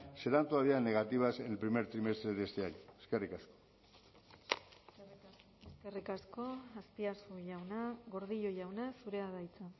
serán todavía negativas en el primer trimestre de este año eskerrik asko eskerrik asko azpiazu jauna gordillo jauna zurea da hitza